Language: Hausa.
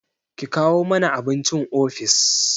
Ki kawo mani abincin ofis!